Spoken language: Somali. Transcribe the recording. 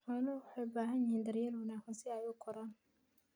Xooluhu waxay u baahan yihiin daryeel wanaagsan si ay u koraan.